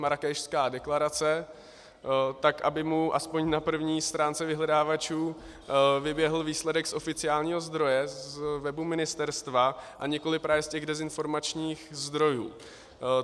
Marrákešská deklarace, tak aby mu aspoň na první stránce vyhledávačů vyběhl výsledek z oficiálního zdroje z webu ministerstva, a nikoliv právě z těch dezinformačních zdrojů.